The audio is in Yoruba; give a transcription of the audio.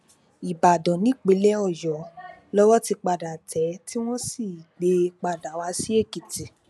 ìbàdàn nípínlẹ ọyọ lowó ti padà tẹ ẹ tí wọn sì gbé e padà wá sí èkìtì